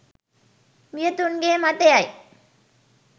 වියතුන්ගේ මතයයි.